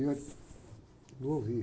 E ele, não ouvi.